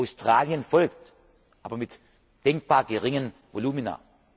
Australien folgt, aber mit denkbar geringen